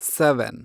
seven